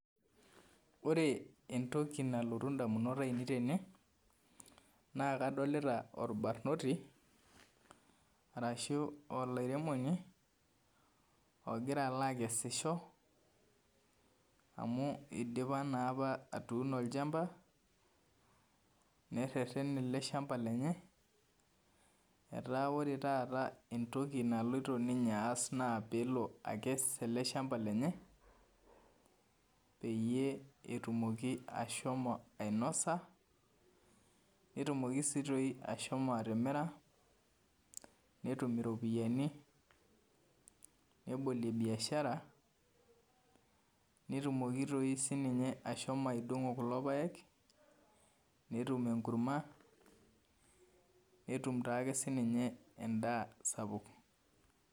Ore entoki nalotu ndamunot ainei tene na kadolta orbarnoti ashu olaremoni ogira alo akesisho amu eidipa naapa atuuno olchamba nereten eleshamba lenye ata duo ore entoki naasita ninye na pelo akes ele shamba lenye peyie etumoki ashomo ainosa, netumoki si ashomo aitimira netum iropiyani nebolie biashara netumoki si ashomo aidongo kulo paek netum enkurma netum siake endaa sapuk.